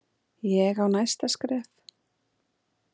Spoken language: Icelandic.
Ég á næsta skref.